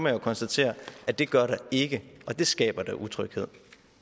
jo konstatere at det gør der ikke og det skaber da utryghed